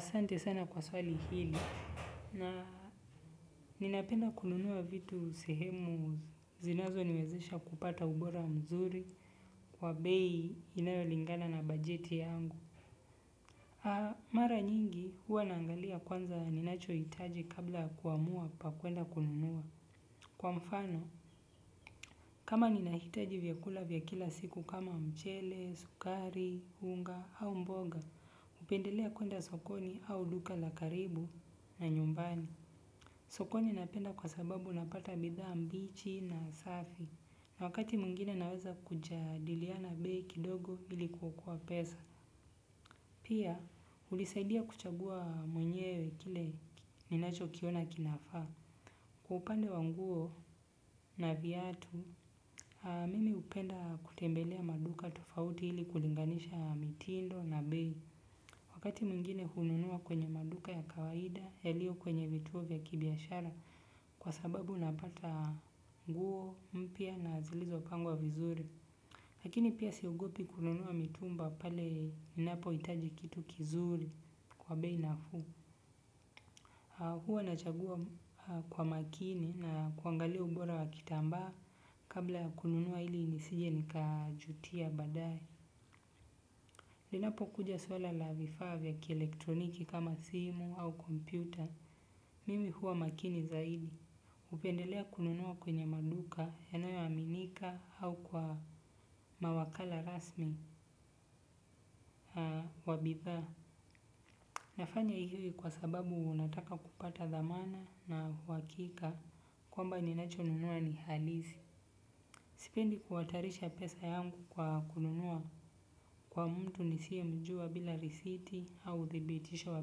Sante sana kwa swali hili na ninapenda kununuwa vitu sehemu zinazo niwezesha kupata ubora mzuri kwa bei inayolingana na bajeti yangu. Mara nyingi huwa naangalia kwanza ninacho hitaji kabla kuamua pa kuenda kulunuwa. Kwa mfano kama ninahitaji vyakula vyakila siku kama mchele, sukari, hunga au mboga, upendelea kuenda sokoni au duka la karibu na nyumbani. Soko ninapenda kwa sababu napata bidha mbichi na safi. Wakati mwingine naweza kujadiliana bei kidogo ili kuokoa pesa. Pia, ulisaidia kuchagua mwenyewe kile ninacho kiona kinafaa. Kwa upande wanguo na viatu, mimi upenda kutembelea maduka tofauti ili kulinganisha mitindo na bei. Wakati muingine hununua kwenye maduka ya kawaida yalio kwenye vituo vya kibiashara. Kwa sababu napata nguo mpia na zilizo pangwa vizuri. Lakini pia siogopi kununuwa mitumba pale ninapo itaji kitu kizuri kwa bei nafu. Huwa nachagua kwa makini na kuangalia ubora wa kitamba. Kabla kununuwa hili nisije nikajutia badae. Linapo kuja swala la vifavya kielektroniki kama simu au kompyuta mimi huwa makini zaidi. Upendelea kununua kwenye maduka yanayo aminika au kwa mawakala rasmi wabitha. Nafanya hivi kwa sababu nataka kupata dhamana na wakika kwamba ninacho nunua ni halizi. Sipendi kuatarisha pesa yangu kwa kununua kwa mtu nisiye mjua bila risiti au thibitisho wa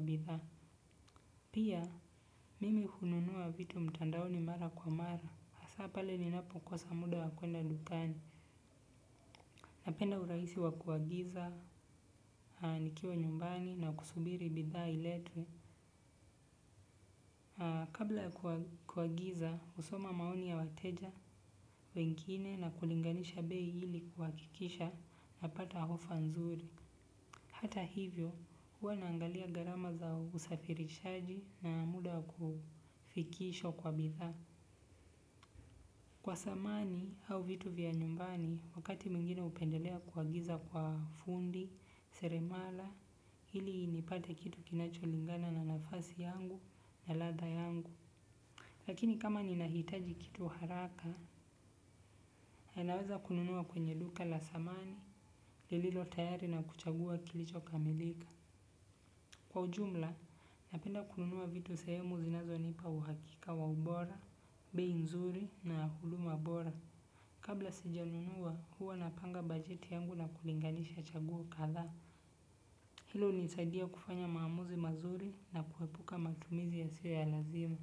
bitha. Pia mimi hununua vitu mtandaoni mara kwa mara. Asapale ninapokosa muda wakwenda dukani. Napenda uraisi wakuagiza, nikiwa nyumbani na kusubiri bitha iletue. Kabla kuagiza, usoma maoni ya wateja, wengine na kulinganisha beyi hili kwa kikisha na pata hofanzuri. Hata hivyo, huwa naangalia garama za usafirishaji na muda kufikisho kwa bitha. Kwa samani au vitu vya nyumbani, wakati mingine upendelea kwa giza kwa fundi, seremala, hili ni pate kitu kinacho lingana na nafasi yangu, na latha yangu. Lakini kama ninahitaji kitu haraka, ninaweza kununua kwenye duka la samani, lililo tayari na kuchagua kilicho kamilika. Kwa ujumla, napenda kununua vitu sahemu zinazonipa uhakika wa ubora, bei nzuri na huduma bora. Kabla sijanunua, huwa napanga bajeti yangu na kulinganisha chaguo kadhaa. Hilo hunisaidia kufanya maamuzi mazuri na kuepuka matumizi yasiyo ya lazima.